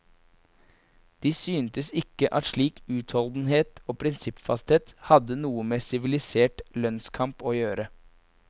De syntes ikke at slik utholdenhet og prinsippfasthet, hadde noe med sivilisert lønnskamp å gjøre.